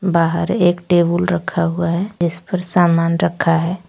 बाहर एक टेबुल रखा हुआ है जिस पर सामान रखा है।